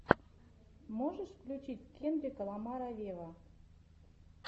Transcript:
можешь включить кендрика ламара вево